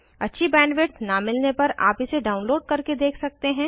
अच्छी बैंडविड्थ न मिलने पर आप इसे डाउनलोड करके देख सकते हैं